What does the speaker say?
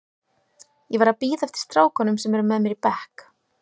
Ég var að bíða eftir strákunum sem eru með mér í bekk.